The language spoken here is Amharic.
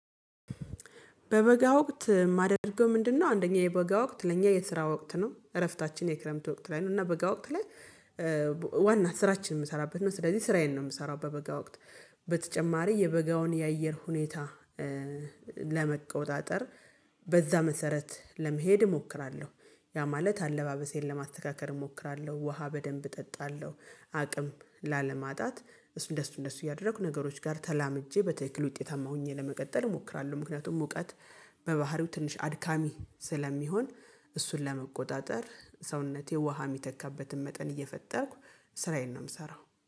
በበጋ ወቅት የማደርገው ምንድንነው? አንደኛ የበጋ ወቅት ለእኛ የስራ ወቅት ነው እረፍታችን የክረምት ወቅት ላይ ነው እና በጋ ወቅት ላይ። በበጋ ወቅት የማደርገው ምንድንነው? አንደኛ የበጋ ወቅት ለእኛ የስራ ወቅት ነው እረፍታችን የክረምት ወቅት ላይ ነው እና በጋ ወቅት ላይ። በተጨማሪ የበጋውን የአየር ሁኔታ። ለመቆጣጠር በዛ መሰረት ለመሄድ እሞክራለሁ። ያ ማለት አለባበሴን ለማተካከል እሞክራለሁ። ውሃ በደንብ እጠጣለሁ አቅም ላለማጣት እሱን እንደሱ እንደሱ እያደረኩ ነገሮች ጋር ተላምጄ በትክክል ውጤታማ ሆኜ ለመቀጠል እሞክራለሁ። ምክንያቱም ሙቀት በባህሪው ትንሽ አድካሚ ስለሚሆን። እሱን ለመቆጣጠር ሰውነቴ ውሃ የሚተካበትን መጠን እየፈጠርኩ ስራዬን ነው የምሰራው